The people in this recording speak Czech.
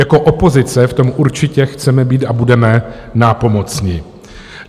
Jako opozice v tom určitě chceme být a budeme nápomocni.